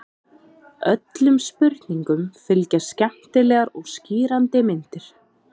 Öllum spurningum fylgja skemmtilegar og skýrandi myndir.